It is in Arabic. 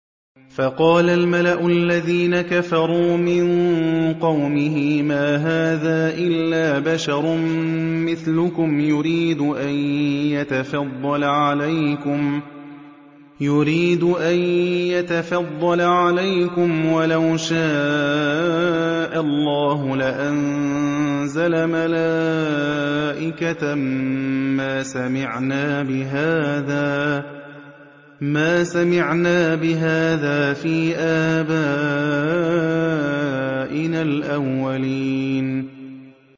فَقَالَ الْمَلَأُ الَّذِينَ كَفَرُوا مِن قَوْمِهِ مَا هَٰذَا إِلَّا بَشَرٌ مِّثْلُكُمْ يُرِيدُ أَن يَتَفَضَّلَ عَلَيْكُمْ وَلَوْ شَاءَ اللَّهُ لَأَنزَلَ مَلَائِكَةً مَّا سَمِعْنَا بِهَٰذَا فِي آبَائِنَا الْأَوَّلِينَ